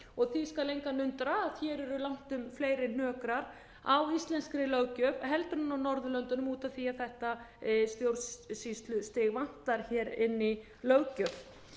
lög því skal engan undra að hér eru langtum fleiri hnökrar á íslenskri löggjöf heldur en á norðurlöndunum út af því að þetta stjórnsýslustig vantar hér inn í löggjöf